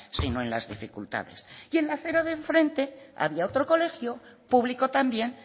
sino en las dificultades y en la acera de enfrente había otro colegio público también